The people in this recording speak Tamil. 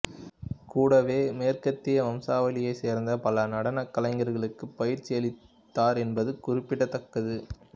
கூடவே மேற்கத்திய வம்சாவளியைச் சேர்ந்த பல நடனக் கலைஞர்களுக்கு பயிற்சி அளித்தார் என்பது குறிப்பிடத்தக்கது